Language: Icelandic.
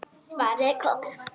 Svarið er komið.